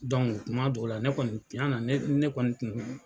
Dɔnku kuma dɔw la ne kɔni ciana ne ne kɔni kun